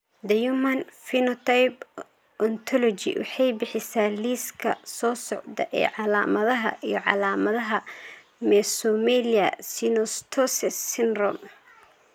The Human Phenotype Ontology waxay bixisaa liiska soo socda ee calaamadaha iyo calaamadaha Mesomelia synostoses syndrome.